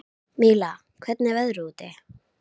Míla, hvernig er veðrið úti?